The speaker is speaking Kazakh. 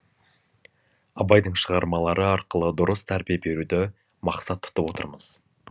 абайдың шығармалары арқылы дұрыс тәрбие беруді мақсат тұтып отырмыз